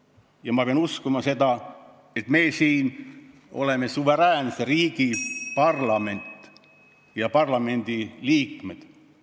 Ja ma pean uskuma, et me oleme suveräänse riigi parlamendi suveräänsed liikmed.